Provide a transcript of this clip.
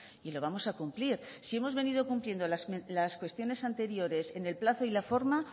y lo vamos a cumplir si hemos venido cumpliendo las cuestiones anteriores en el plazo y la forma